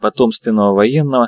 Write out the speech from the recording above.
потомственного военного